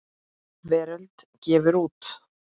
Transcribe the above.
Veröld gefur út.